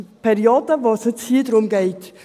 Es ist die Periode, um die es jetzt hier geht.